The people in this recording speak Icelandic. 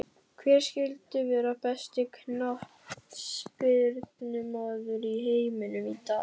Hver skyldi vera besti knattspyrnumaður í heiminum í dag?